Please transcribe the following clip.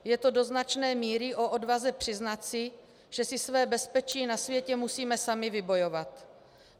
Je to do značné míry o odvaze přiznat si, že si své bezpečí na světě musíme sami vybojovat.